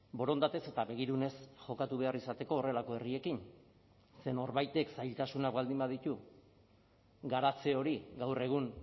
borondatez eta begirunez jokatu behar izateko horrelako herriekin ze norbaitek zailtasunak baldin baditu garatze hori gaur egun